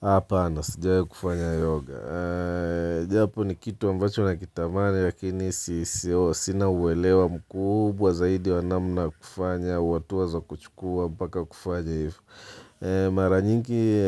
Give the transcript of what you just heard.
Hapa na sijawahi kufanya yoga Japo ni kitu ambacho nakitamani Lakini sina uelewa mkubwa zaidi wa namna wa kufanya hatua za kuchukua mpaka kufanya hivyo Mara nyingi